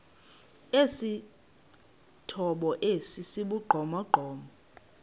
esithomo esi sibugqomogqomo